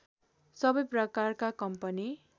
सबै प्रकारका कम्पनी